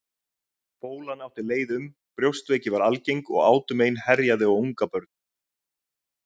Bólan átti leið um, brjóstveiki var algeng og átumein herjaði á ungabörn.